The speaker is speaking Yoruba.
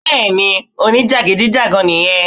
Bẹ́ẹ̀ni ni o ní jàgídíjàgan nì yẹn